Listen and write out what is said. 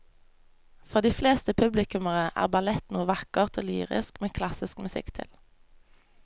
For de fleste publikummere er ballett noe vakkert og lyrisk med klassisk musikk til.